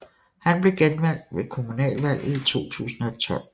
Han blev genvalgt ved kommunalvalget i 2012